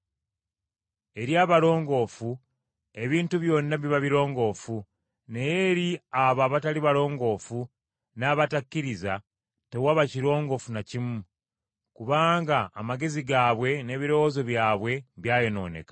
Eri abalongoofu, ebintu byonna biba birongoofu, naye eri abo abatali balongoofu n’abatakkiriza, tewaba kirongoofu na kimu. Kubanga amagezi gaabwe n’ebirowoozo byabwe byayonooneka.